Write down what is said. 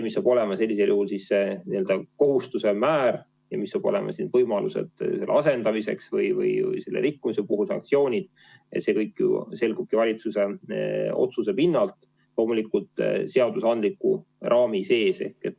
Millised saavad olema kohustused, millised saavad olema rikkumise puhul sanktsioonid, see kõik selgub valitsuse otsustest, loomulikult seadusandliku raami sees.